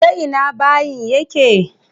Ta ina bayin yake?